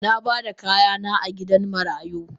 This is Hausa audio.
Nabada kayana a gidan marayu.